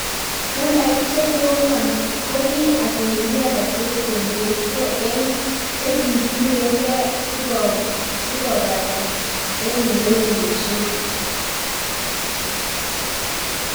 Nambait chekomak ko ki asilimia 38.84 eng chekisirgen si kopatan eng newelishen.